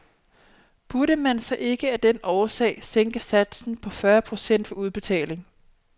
Burde man så ikke af den årsag sænke satsen på fyrre procent ved udbetaling?